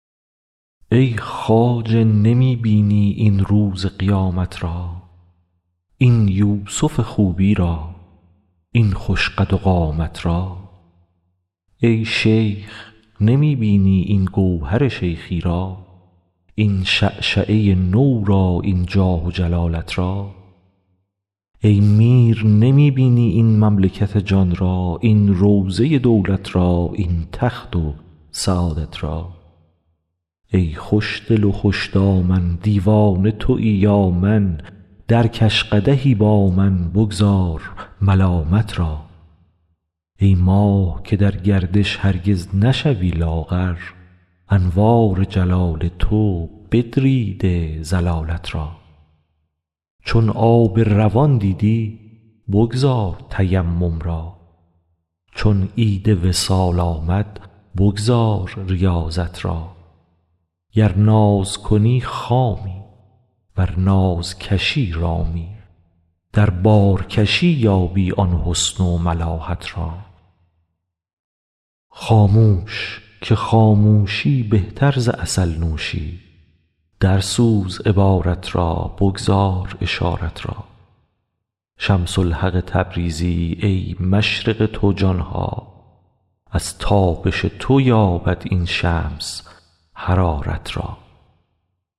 ای خواجه نمی بینی این روز قیامت را این یوسف خوبی را این خوش قد و قامت را ای شیخ نمی بینی این گوهر شیخی را این شعشعه نو را این جاه و جلالت را ای میر نمی بینی این مملکت جان را این روضه دولت را این تخت و سعادت را ای خوشدل و خوش دامن دیوانه توی یا من درکش قدحی با من بگذار ملامت را ای ماه که در گردش هرگز نشوی لاغر انوار جلال تو بدریده ضلالت را چون آب روان دیدی بگذار تیمم را چون عید وصال آمد بگذار ریاضت را گر ناز کنی خامی ور ناز کشی رامی در بارکشی یابی آن حسن و ملاحت را خاموش که خاموشی بهتر ز عسل نوشی درسوز عبارت را بگذار اشارت را شمس الحق تبریزی ای مشرق تو جان ها از تابش تو یابد این شمس حرارت را